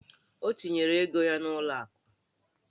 O tinyere ego ya n'ụlọ akụ?